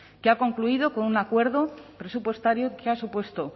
que ha concluido con un acuerdo presupuestario que ha supuesto